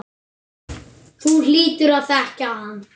Þú hlýtur að þekkja hann.